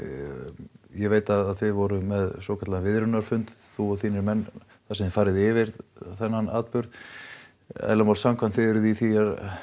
ég veit að þið voruð með svokallaðan þú og þínir menn þar sem þið farið yfir þennan atburð eðli málsins samkvæmt þið eruð í því